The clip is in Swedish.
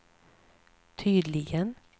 tydligen